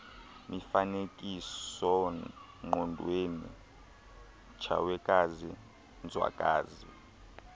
mifanekisoongqondweni tshawekazi nzwakazi